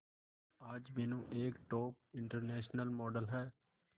आज मीनू एक top international model है